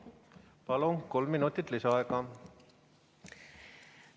Palun, kolm minutit lisaaega!